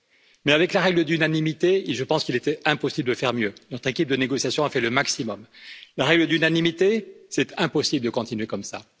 Mais avec la règle de l'unanimité, je pense qu'il était impossible de faire mieux, notre équipe de négociation a fait le maximum. La règle de l'unanimité, c'est impossible de continuer comme ça.